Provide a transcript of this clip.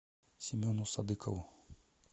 семену садыкову